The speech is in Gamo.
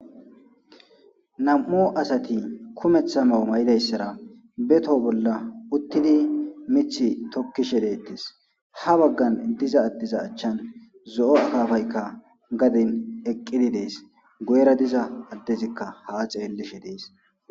nam7u asati kumeththa mawo may7idayssara beto bolla uttidi mith tokkishe deettes ha baggan diza addiza achchan zo7o akafaykka gadin eqqidi dees goyra diza addezikka ha xeellishe dees